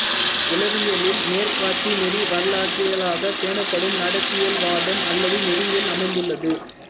உளவியலில் நேர்காட்சிநெறி வரலாற்றியலாகப் பேணப்படும் நடத்தையியல்வாதம் அல்லது நெறியில் அமைந்துள்ளது